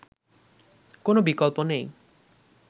কোন বিকল্প নেই